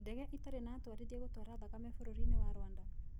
Ndege itarĩ na atwarithia gũtwara thakame Bũrũri-inĩ wa Rwanda